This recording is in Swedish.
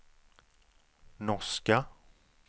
norska